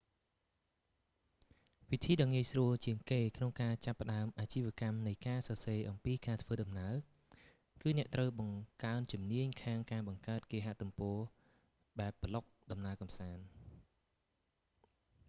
វិធីដ៏ងាយស្រួលជាងគេក្នុងការចាប់ផ្តើមអាជីវកម្មនៃការសរសេរអំពីការធ្វើដំណើរ គឺអ្នកត្រូវបង្កើនជំនាញខាងការបង្កើតគេហទំព័របែកប្លុកដំណើរកំសាន្ត